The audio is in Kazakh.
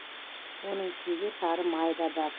оның ішінде сары май да бар